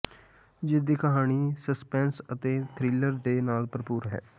ਜਿਸ ਦੀ ਕਹਾਣੀਂ ਸਸਪੈਂਸ ਅਤੇ ਥ੍ਰਿਲਰ ਦੇ ਨਾਲ ਭਰਪੂਰ ਹੈ